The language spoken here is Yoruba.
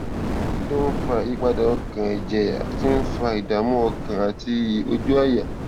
kí ló ń fa ìyípadà ọkàn èjè tí ń fa ìdààmú ọkàn àti ìrójú àyà